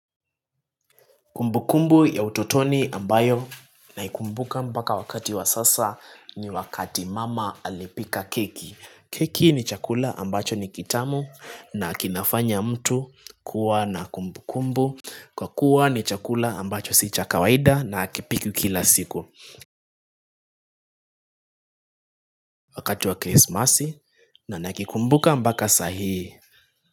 Kumbu kumbu ya utotoni ambayo naikumbuka mbaka wakati wa sasa ni wakati mama alipika keki keki ni chakula ambacho ni kitamu na kinafanya mtu kuwa na kumbu kumbu Kwa kuwa ni chakula ambacho si cha kawaida na hakipikwi kila siku Wakati wa krismasi na nakikumbuka mbaka sahii.